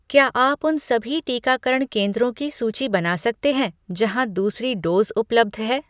क्या आप उन सभी टीकाकरण केंद्रों की सूची बना सकते हैं जहाँ दूसरी डोज़ उपलब्ध है ?